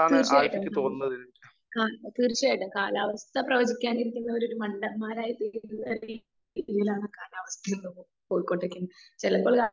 speaker 2 തീർച്ചയായിട്ടും കാലാവസ്ഥ പ്രവചിക്കുന്നവരെ ഒരു മണ്ടന്മാരായിട്ടാണ് കാണാറുള്ളത്